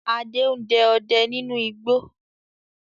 Adé ń dẹ ọdẹ nínú igbó